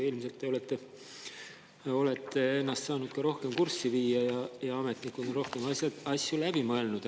Ilmselt te olete saanud ennast rohkem kurssi viia ja ametnikud on asjad rohkem läbi mõelnud.